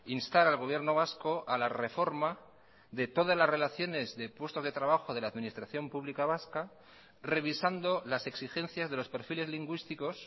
instar al gobierno vasco a la reforma de todas las relaciones de puestos de trabajo de la administración pública vasca revisando las exigencias de los perfiles lingüísticos